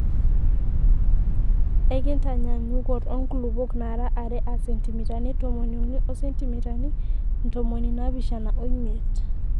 Enkitanyaanyukot oo nkulupuok naara are aa sentimitani tomoniuni o sentimitani ntomoni naapishana omiet.